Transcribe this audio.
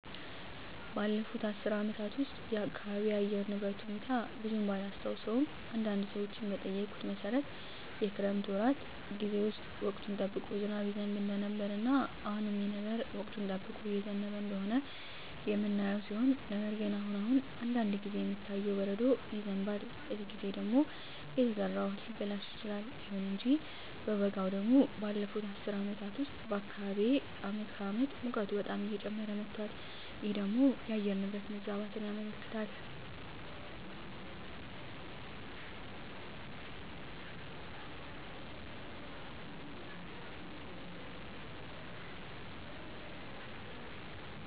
ባለፉት አስር አመታት ውስጥ የአካባቢየ የአየር ሁኔታ ብዙም ባላስታውሰውም አንዳንድ ሰዎችን በጠየኩት መሠረት የክረምት ወራት ጌዜ ውስጥ ወቅቱን ጠብቆ ዝናብ ይዘንብ እንደነበረ እና አሁንም ይህ ነገር ወቅቱን ጠብቆ እየዘነበ እንደሆነ የምናየው ሲሆን ነገር ግን አሁን አሁን አንዳንድ ጊዜ የሚታየው በረዶ ይዘንባል በዚህ ጊዜ ደግሞ የተዘራው እህል ሊበላሽ ይችላል። ይሁን እንጂ በበጋው ደግሞ ባለፋት አስር አመታት ውስጥ በአካባቢየ አመት ከአመት ሙቀቱ በጣም እየጨመረ መጧል ይህ ደግሞ የአየር ንብረት መዛባትን ያመለክታል